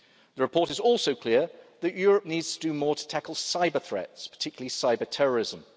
The report is also clear that Europe needs to do more to tackle cyber threats, particularly cyber terrorism.